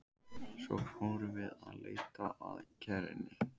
Svo fórum við að leita að kerrunni.